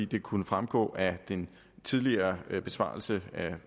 det kunne fremgå af den tidligere besvarelse af